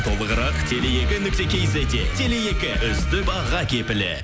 толығырақ теле екі нүкте кизетте теле екі үздік баға кепілі